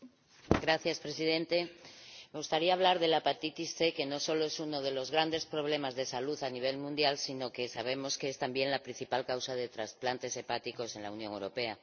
Señor Presidente, me gustaría hablar de la hepatitis C, que no solo es uno de los grandes problemas de salud a nivel mundial, sino que sabemos que es también la principal causa de trasplantes hepáticos en la Unión Europea.